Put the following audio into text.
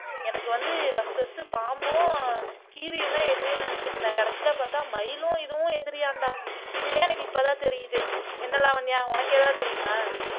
எனக்கு வந்து first first பாம்பும் கீரியும்தான் எதிரின்னு நினைச்சுட்டு இருந்தேன் கடைசியில பார்த்தா மயிலும் இதுவும் எதிரியாம்டா இதுவே எனக்கு இப்பதான் தெரியுது என்ன லாவண்யா உனக்கு ஏதாவது தெரியுமா